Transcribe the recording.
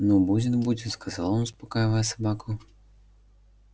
ну будет будет сказал он успокаивая собаку